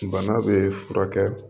Bana bɛ furakɛ